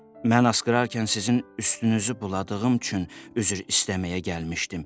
Mən asqırarkən sizin üstünüzü buladığım üçün üzr istəməyə gəlmişdim.